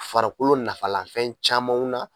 Farikolo nafalanfɛn camanw na